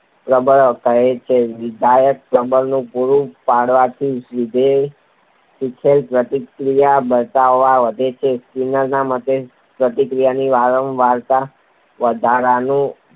પ્રબલન કહે છે. વિધાયક પ્રબલન પૂરું પાડવાથી વિધેયે શીખેલી પ્રતિક્રિયાની પ્રબળતા વધે છે. સ્કિનરના મતે પ્રતિક્રિયાની વારંવારતા વધારનારું